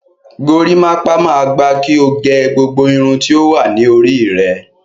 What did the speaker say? Gorímápá máa gba kí o gẹ gbogbo irun tí ó wà ní orí rẹ.